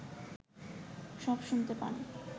সব শুনতে পান